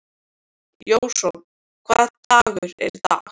Jason, hvaða dagur er í dag?